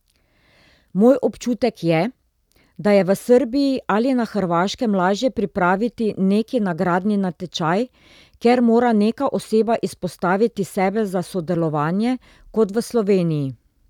Moj občutek je, da je v Srbiji ali na Hrvaškem lažje pripraviti neki nagradni natečaj, kjer mora neka oseba izpostaviti sebe za sodelovanje, kot v Sloveniji.